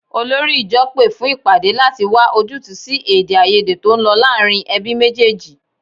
Olórí ìjọ pé fún ìpàdé láti wá ojútùú sí èdèàìyedè tó ń lọ láàárín ẹbí méjèèjì